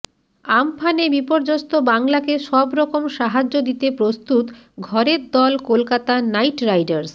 আম্ফানে বিপর্যস্ত বাংলাকে সব রকম সাহায্য দিতে প্রস্তুত ঘরের দল কলকাতা নাইট রাইডার্স